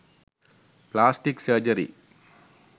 plastic surgery